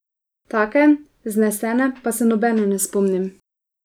Take, vznesene pa se nobene ne spomnim.